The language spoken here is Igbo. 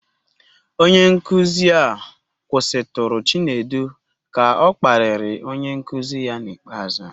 Onye nkuzi a kwụsịtụrụ Chinedu ka ọ kparịrị onye nkuzi ya n'ikpeazụ.